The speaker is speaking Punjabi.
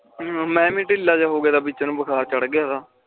ਮੈਂ ਵੀ ਢਿੱਲਾ ਜਾ ਹੋਗਿਆ ਤਾ ਵਿਚ ਨੂੰ ਬੁਖਾਰ ਚਰਡ ਗਿਉਂ ਤਾ